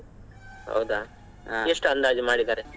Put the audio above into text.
ಹೌದಾ ಅಂದಾಜು ಮಾಡಿದಾರೆ?